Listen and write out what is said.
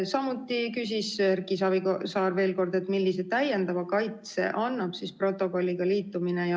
Samuti küsis Erki Savisaar veel kord, millise täiendava kaitse annab protokolliga liitumine.